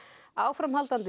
áframhaldandi